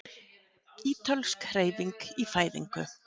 Ítölsk Hreyfing í fæðingu